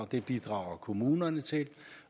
det bidrager kommunerne til